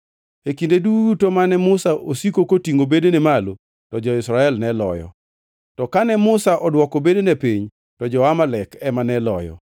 E kinde duto mane Musa osiko kotingʼo bedene malo, to jo-Israel ne loyo, to kane Musa odwoko bedene piny, to jo-Amalek ema ne loyo.